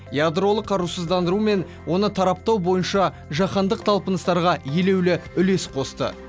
ядролық қарусыздандыру мен оны тараптау бойынша жаһандық талпыныстарға елеулі үлес қосты